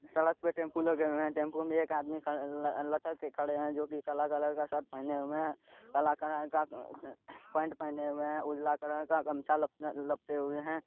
सड़क पे टेम्पू लगे हुए हैं टेम्पू में एक आदमी खड़े ल लटक के खड़े हैं जो की काला कलर का शर्ट पहने हुए है काला कलर का पेंट पहने हुए है उजला कलर का गमछा लप लपटे हुए हैं।